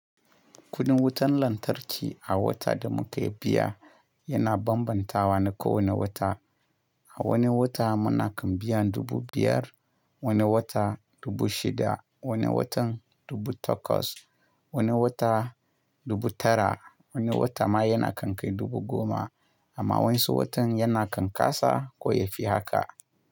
Kudin wutan lantarki a wata da muke biya yana bambanta wa na kowane wata. A wani wata muna kan biyan dubu biyar, wani wata dubu shida, wani watan dubu takwas, wani wata dubu tara, wani wata ma yana kan kai dubu goma amma wanɗansu watan yana kan kasa ko yafi haka.